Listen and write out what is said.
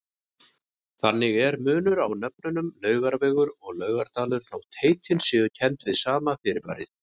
Þannig er munur á nöfnunum Laugavegur og Laugardalur þótt heitin séu kennd við sama fyrirbærið.